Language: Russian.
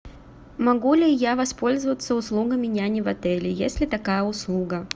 могу ли я воспользоваться услугами няни в отеле есть ли такая услуга